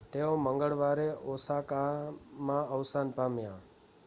તેઓ મંગળવારે ઓસાકામાં અવસાન પામ્યા